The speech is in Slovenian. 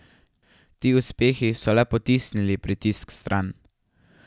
Ti uspehi so le potisnili pritisk vstran.